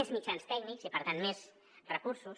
més mitjans tècnics i per tant més recursos